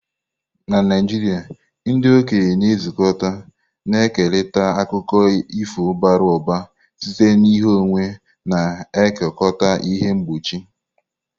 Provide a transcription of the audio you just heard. Na Naijiria, ndị okenye na-ezukọ, na-ekerịta akụkọ ifo bara ụba site n'ìhè ọnwa, na-ekekọta ihe mkpuchi.